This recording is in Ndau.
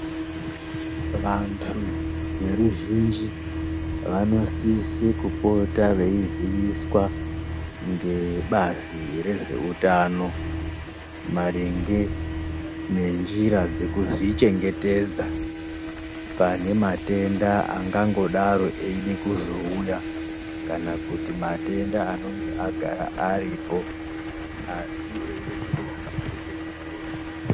Vantu veruzhinji vanosise kupota veiziviswa ngebazi rezveutano maringe nenjira dzekuzvichengetedza pane matenda angangodaro eide kuzouya. Kana kuti matenda anonga agara aripo. Asi eida kuti muntu azvichengetedze.